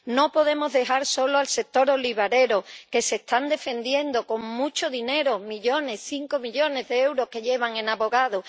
No podemos dejar solo al sector olivarero, que se está defendiendo con mucho dinero, millones cinco millones de euros lleva en abogados.